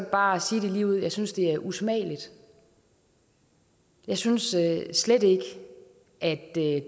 bare sige det ligeud jeg synes det er usmageligt jeg synes slet ikke at det